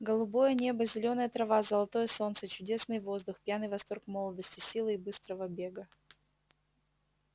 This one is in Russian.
голубое небо зелёная трава золотое солнце чудесный воздух пьяный восторг молодости силы и быстрого бега